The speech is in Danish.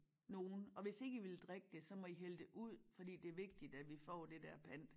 Nogen og hvis ikke vil drikke det så må i hælde det ud fordi det er vigtigt at vi får det dér pant